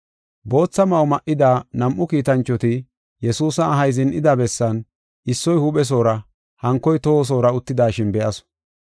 Bootha ma7o ma7ida nam7u kiitanchoti Yesuusa ahay zin7ida bessan issoy huuphesoora hankoy tohosoora uttidashin be7asu.